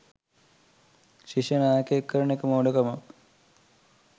ශිෂ්‍ය නායකයෙක් කරන එක මෝඩ කමක්